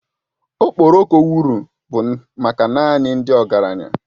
Okporoko wụrụ bụ maka naanị ndị ọgaranya